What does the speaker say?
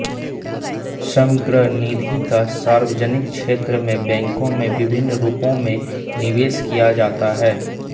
समग्र निधि का सार्वजनिक क्षेत्र के बैंकों में विभिन्न रूपों में निवेश किया जाता है